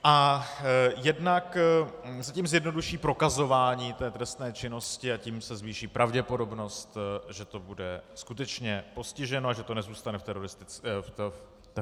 A jednak se tím zjednoduší prokazování té trestné činnosti a tím se zvýší pravděpodobnost, že to bude skutečně postiženo a že to nezůstane v teoretické rovině.